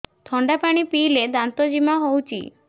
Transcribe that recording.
ଥଣ୍ଡା ପାଣି ପିଇଲେ ଦାନ୍ତ ଜିମା ହଉଚି